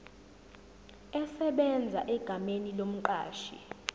esebenza egameni lomqashi